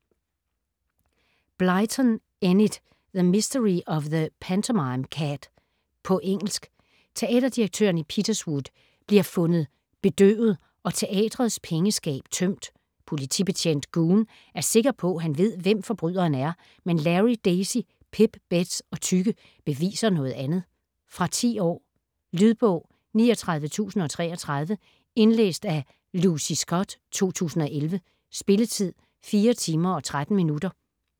Blyton, Enid: The mystery of the pantomime cat På engelsk. Teaterdirektøren i Peterswood bliver fundet bedøvet og teatrets pengeskab tømt. Politibetjent Goon er sikker på, han ved hvem forbryderen er, men Larry, Daisy, Pip, Bets og Tykke beviser noget andet. Fra 10 år. Lydbog 39033 Indlæst af Lucy Scott, 2011. Spilletid: 4 timer, 13 minutter.